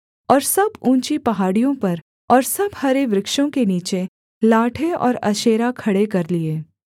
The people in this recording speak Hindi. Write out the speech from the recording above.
और सब ऊँची पहाड़ियों पर और सब हरे वृक्षों के नीचे लाठें और अशेरा खड़े कर लिए